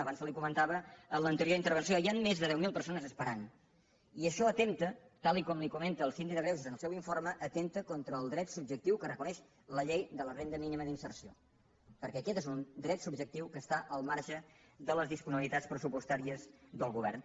abans se li comentava en l’anterior intervenció hi han més de deu mil persones esperant i això atempta tal com li comenta del síndic de greuges en el seu informe contra el dret subjectiu que reconeix la llei de la renda mínima d’inserció perquè aquest és un dret subjectiu que està al marge de les disponibilitats pressupostàries del govern